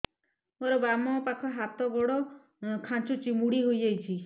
ମୋର ବାମ ପାଖ ହାତ ଗୋଡ ଖାଁଚୁଛି ମୁଡି ହେଇ ଯାଉଛି